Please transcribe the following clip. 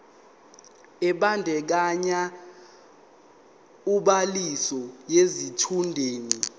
ebandakanya ubhaliso yesitshudeni